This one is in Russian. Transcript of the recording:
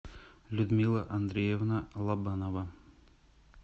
людмила андреевна лобанова